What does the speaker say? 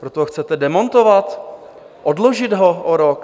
Proto ho chcete demontovat, odložit ho o rok?